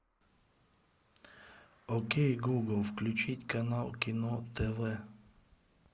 окей гугл включить канал кино тв